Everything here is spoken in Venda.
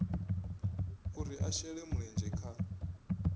uri a shele mulenzhe kha